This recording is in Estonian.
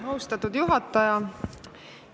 Austatud juhataja!